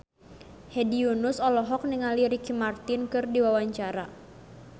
Hedi Yunus olohok ningali Ricky Martin keur diwawancara